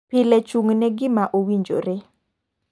Pile chung' ne gima owinjore.